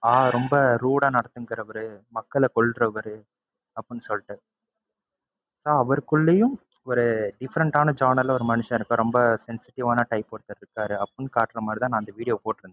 ஆஹ் ரொம்ப rude ஆ நடந்துக்குறவரு, மக்களை கொல்றவரு அப்படின்னு சொல்லிட்டு so அவருக்குள்ளையும் ஒரு different ஆன genre ல ஒரு மனுஷன் இருக்கார். ரொம்ப sensitive வான type ஒருத்தர் இருந்தாரு அப்படின்னு காட்டுறதுக்காகத்தான் நான் அந்த video வ போட்டுருந்தேன்.